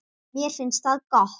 Mér finnst það gott.